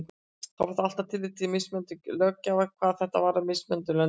Þó verði að taka tillit til mismunandi löggjafar hvað þetta varðar í mismunandi löndum.